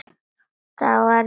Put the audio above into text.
Það á eftir að hlusta.